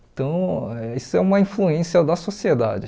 Então, isso é uma influência da sociedade.